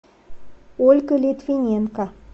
ольга литвиненко